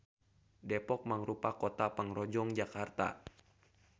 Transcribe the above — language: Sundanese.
Depok mangrupa kota pangrojong Jakarta.